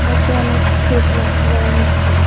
পাশে অনেক ক্ষেত লক্ষ্য করা যাচ্ছে।